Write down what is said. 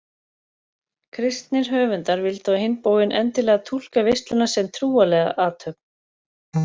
Kristnir höfundar vildu á hinn bóginn endilega túlka veisluna sem trúarlega athöfn.